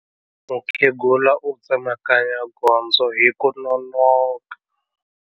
Mukhegula u tsemakanya gondzo hi ku nonoka.